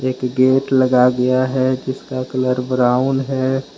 एक गेट लगा दिया है जिसका कलर ब्राउन है।